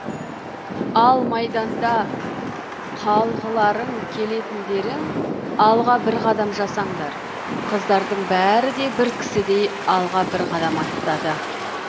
ал майданда қалғыларың келетіндерің алға бір қадам жасаңдар қыздардың бәрі де бір кісідей алға бір қадам аттады